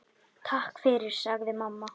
Takk fyrir, sagði mamma.